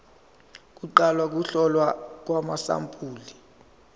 kuqala ukuhlolwa kwamasampuli